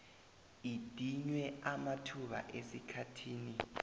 idinywe amathuba esikhathini